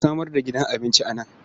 A samar da gidan abinci a nan.